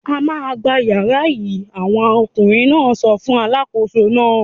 "A máa gba ìyàrá yìí!" Àwọn ọkùnrin náà sọ fún alákòóso náà.